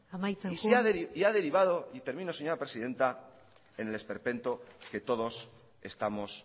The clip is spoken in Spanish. amaitzen joan y ha derivado y termino señora presidenta en el esperpento que todos estamos